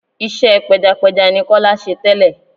Iṣẹ́ pẹjapẹja ni Kọ́lé ṣe tẹ́lẹ̀.